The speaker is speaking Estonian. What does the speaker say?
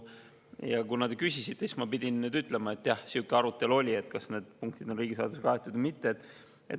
Ja kuna te küsisite, siis ma nüüd pidin ütlema, et, jah, oli sihuke arutelu, kas need punktid on riigisaladusega kaetud või mitte.